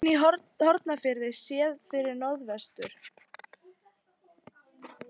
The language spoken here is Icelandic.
Höfn í Hornafirði séð til norðvesturs.